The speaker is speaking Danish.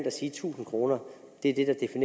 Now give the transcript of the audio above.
at sige at tusind kroner er